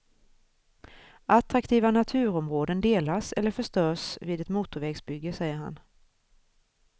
Attraktiva naturområden delas eller förstörs vid ett motorvägsbygge, säger han.